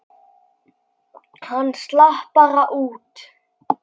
Hann slapp bara út.